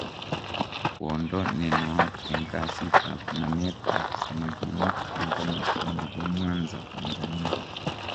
kwondo nenaat en kasit ab namet ab samaginik en komosto nebo Mwanza, Tanzania.